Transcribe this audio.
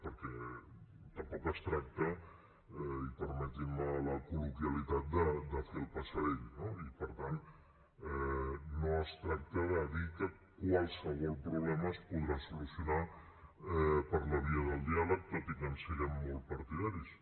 perquè tampoc es tracta i permetin me la colloquialitat de fer el passarell no i per tant no es tracta de dir que qualsevol problema es podrà solucionar per la via del diàleg tot i que en siguem molt partidaris